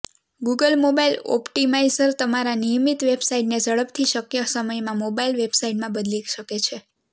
Google mobile optimiser તમારા નિયમિત વેબસાઈટને ઝડપથી શક્ય સમયમાં મોબાઇલ વેબસાઇટમાં બદલી શકે છે